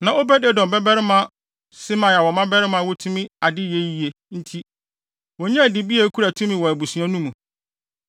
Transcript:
Na Obed-Edom babarima Semaia wɔ mmabarima a wotumi ade yɛ yiye nti, wonyaa dibea a ekura tumi wɔ abusua no mu.